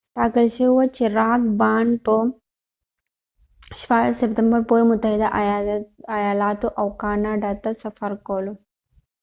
ټاکل شوې وه چې راک بانډ به د ۱۶ سپتمبر پورې متحده ایالاتو او کاناډا ته سفر کولو